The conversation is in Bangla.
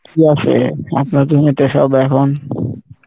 কী আসে আপনার জমিতে সব এখন?